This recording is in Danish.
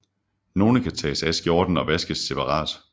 Nogle kan tages af skjorten og vaskes separat